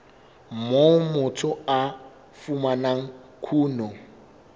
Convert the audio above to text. moo motho a fumanang kuno